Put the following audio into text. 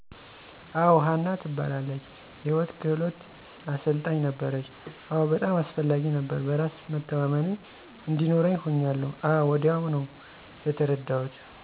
አወ. ሀና ትባላለች የህይወት ክህሉት አሰልጣኝ ነበረች፣ አወ በጣም አስፈላጊ ነበረ። በራስ መተማመን እዲኖርኛ ሁኛለሁ አወ ወዲያው ነው የተርዳሁት።